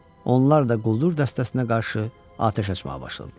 Onlar da quldur dəstəsinə qarşı atəş açmağa başladılar.